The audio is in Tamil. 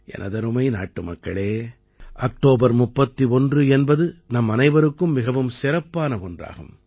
எனதருமை நாட்டுமக்களே அக்டோபர் 31 என்பது நம்மனைவருக்கும் மிகவும் சிறப்பான ஒன்றாகும்